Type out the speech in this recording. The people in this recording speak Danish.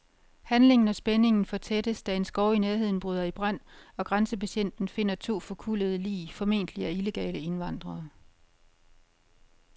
Handlingen og spændingen fortættes, da en skov i nærheden bryder i brand, og grænsebetjenten finder to forkullede lig, formentlig af illegale indvandrere.